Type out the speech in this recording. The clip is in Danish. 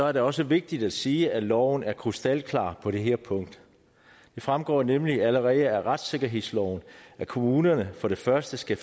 er det også vigtigt at sige at loven er krystalklar på det her punkt det fremgår nemlig allerede af retssikkerhedsloven at kommunerne for det første skal